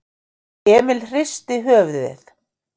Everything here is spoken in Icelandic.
Emil hristi höfuðið.